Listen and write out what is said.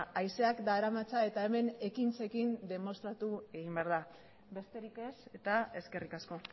haizeak daramatza eta hemen ekintzekin demostratu egin behar da besterik ez eta eskerrik asko